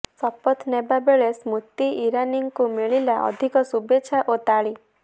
ଶପଥ ନେବା ବେଳେ ସ୍ମୃତି ଇରାନୀଙ୍କୁ ମିଳିଲା ଅଧିକ ଶୁଭେଚ୍ଛା ଓ ତାଳି